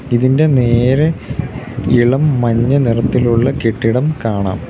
ഇതിൻ്റെ നേരെ ഇളം മഞ്ഞ നിറത്തിലുള്ള കെട്ടിടം കാണാം.